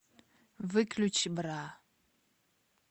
выключи бра